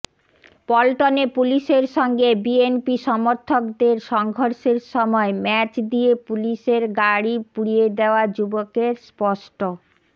পল্টনে পুলিশের সঙ্গে বিএনপি সমর্থকদের সংঘর্ষের সময় ম্যাচ দিয়ে পুলিশের গাড়ি পুড়িয়ে দেয়া যুবকের স্পষ্ট